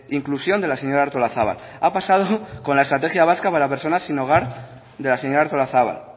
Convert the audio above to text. inclusión de la señora artolazabal ha pasado con la estrategia vasca para personas sin hogar de la señora artolazabal